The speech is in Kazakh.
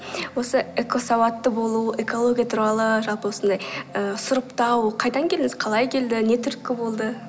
осы экосауатты болу экология туралы жалпы осындай ыыы сұрыптау қайдан келдіңіз қалай келді не түрткі болды